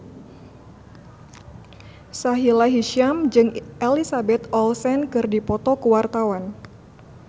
Sahila Hisyam jeung Elizabeth Olsen keur dipoto ku wartawan